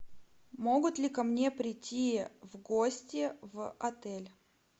могут ли ко мне прийти в гости в отель